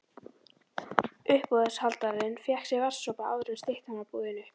Uppboðshaldarinn fékk sér vatnssopa áður en styttan var boðin upp.